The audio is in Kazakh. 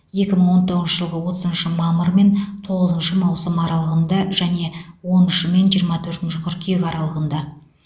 екі мың он тоғызыншы жылғы отызыншы мамыр мен тоғызыншы маусым аралығында және он үші мен жиырма төртінші қыркүйек аралығында